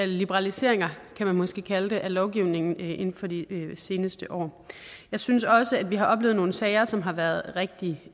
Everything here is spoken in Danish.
liberaliseringer kan man måske kalde det af lovgivningen inden for de seneste år jeg synes også at vi har oplevet nogle sager som har været rigtig